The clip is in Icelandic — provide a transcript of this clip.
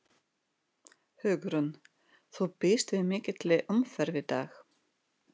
Hugrún: Þú býst við mikilli umferð í dag?